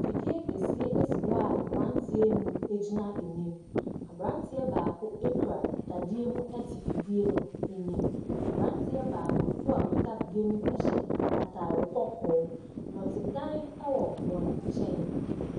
Fidie kɛseɛ esi hɔ a mmranteɛ nnum egyina anim abranteɛ baako ekura dadeɛ mu ɛte fidie no anim abranteɛ baako so a okita fidie no mu ɛhyɛ ataade kɔkɔɔ nɔtedan ɛwɔ wɔb nkyɛn.